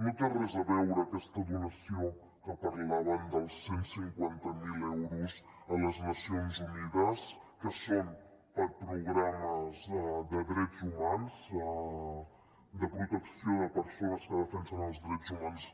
no té res a veure aquesta donació de què parlaven dels cent i cinquanta miler euros a les nacions unides que són per a programes de drets humans de protecció de persones que defensen els drets humans